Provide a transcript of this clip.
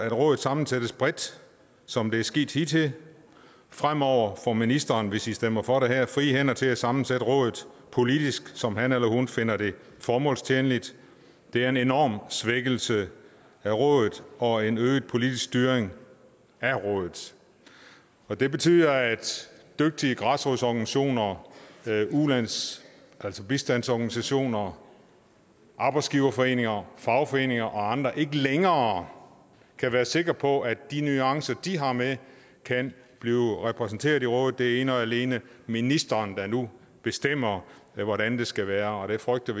at rådet sammensættes bredt som det er sket hidtil fremover får ministeren hvis i stemmer for det her frie hænder til at sammensætte rådet politisk som han eller hun finder det formålstjenligt det er en enorm svækkelse af rådet og en øget politisk styring af rådet og det betyder at dygtige græsrodsorganisationer bistandsorganisationer arbejdsgiverforeninger fagforeninger og andre ikke længere kan være sikre på at de nuancer de har med kan blive repræsenteret i rådet det er ene og alene ministeren der nu bestemmer hvordan det skal være og vi frygter